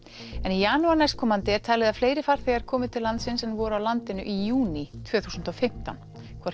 en í janúar næstkomandi er talið að fleiri farþegar komi til landsins en voru á landinu í júní tvö þúsund og fimmtán